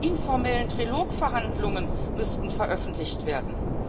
aus informellen Trilogverhandlungen müssten veröffentlicht werden.